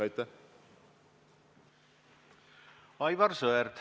Aivar Sõerd, palun!